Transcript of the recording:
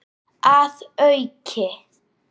Að auki